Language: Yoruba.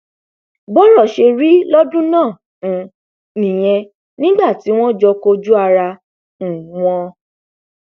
bọrọ ṣe rí lọdún náà um nìyẹn nígbà tí wọn jọ kojú ara um wọn